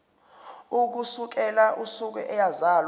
ukusukela usuku eyazalwa